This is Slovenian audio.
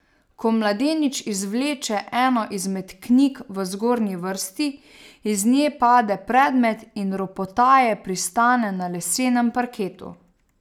Ko mladenič izvleče eno izmed knjig v zgornji vrsti, iz nje pade predmet in ropotaje pristane na lesenem parketu.